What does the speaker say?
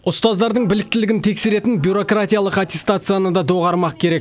ұстаздардың біліктілігін тексеретін бюрократиялық аттестацияны да доғармақ керек